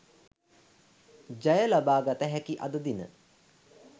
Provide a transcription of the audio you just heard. ජය ලබාගත හැකි අද දින